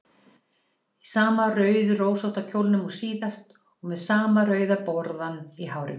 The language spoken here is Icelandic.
Í sama rauðrósótta kjólnum og síðast og með sama rauða borðann í hárinu.